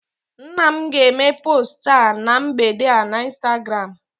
nna m ga-eme post a na mgbede a na Instagram